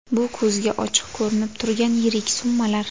Bu ko‘zga ochiq ko‘rinib turgan yirik summalar.